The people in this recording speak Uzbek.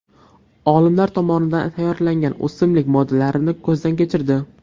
Olimlar tomonidan tayyorlangan o‘simlik moddalarini ko‘zdan kechirdi.